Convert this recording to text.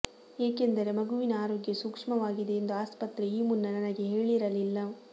ಏಕೆಂದರೆ ಮಗುವಿನ ಆರೋಗ್ಯ ಸೂಕ್ಷ್ಮವಾಗಿದೆ ಎಂದು ಆಸ್ಪತ್ರೆ ಈ ಮುನ್ನ ನನಗೆ ಹೇಳಿರಲಿಲ್ಲ